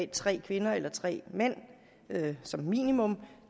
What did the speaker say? tre kvinder eller tre mænd som minimum